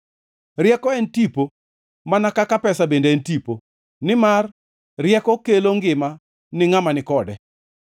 Rieko en tipo mana kaka pesa bende en tipo, nimar rieko kelo ngima ni ngʼama ni kode.